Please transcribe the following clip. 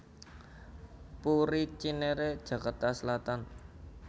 Puri Cinere Jakarta Selatan